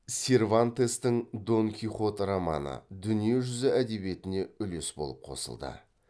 сервантестің дон кихот романы дүние жүзі әдебиетіне үлес болып қосылды